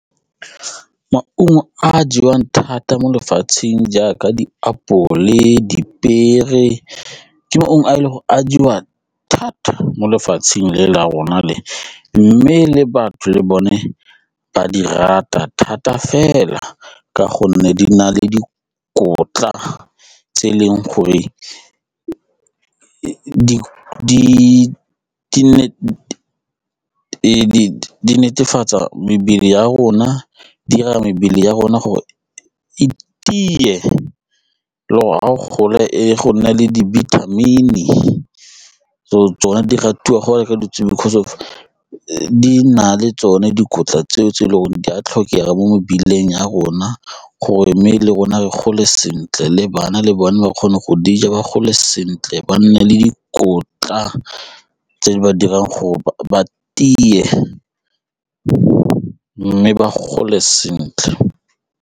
Maungo a a jewang thata mo lefatsheng jaaka dipiere ke maungo a a jewang thata mo lefatsheng la rona le mme le batho le bone ba di rata thata fela ka gonne di na le dikotla tse e leng gore di netefatsa mebele ya rona, e dira mebele ya rona gore e tie le gole e go nne le dibithamini so tsone di ratiwa go reka because of di na le tsone dikotla tseo tse e leng gore di a tlhokega mo mebeleng ya rona gore mme le rona re gole sentle le bana le bone ba kgone go dija di gole sentle ba nne le dikotla tse di ba dirang gore ba tie mme ba gole sentle.